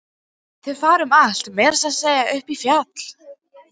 Þeir fara um allt, meira að segja upp í fjall.